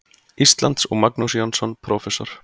Íslands, og Magnús Jónsson, prófessor.